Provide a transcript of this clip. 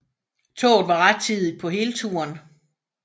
Toget var rettidigt på hele turen